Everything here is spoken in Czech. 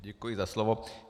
Děkuji za slovo.